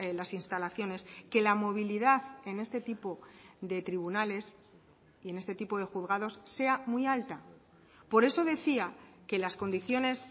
las instalaciones que la movilidad en este tipo de tribunales y en este tipo de juzgados sea muy alta por eso decía que las condiciones